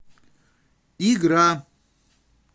игра